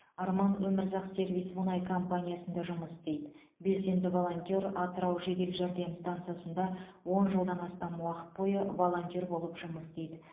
арман өмірзақ сервис мұнай компаниясында жұмыс істейді белсенді волонтер атырау жедел жәрдем стансасында он жылдан астам уақыт бойы волонтер болып жұмыс істейді